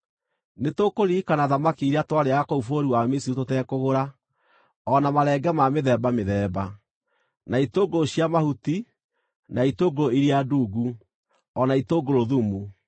Nĩtũkũririkana thamaki iria twarĩĩaga kũu bũrũri wa Misiri tũtekũgũra, o na marenge ma mĩthemba mĩthemba, na itũngũrũ cia mahuti, na itũngũrũ iria ndungu, o na itũngũrũ thumu.